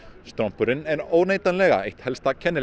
strompurinn er óneitanlega eitt helsta kennileiti